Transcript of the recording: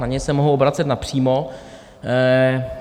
Na něj se mohu obracet napřímo.